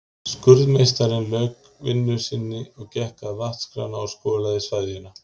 Skurðmeistarinn lauk vinnu sinni og gekk að vatnskrana og skolaði sveðjuna.